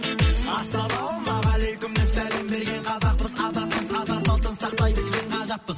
ассалаумағалейкум деп сәлем берген қазақпыз азатпыз ата салтын сақтай білген ғажаппыз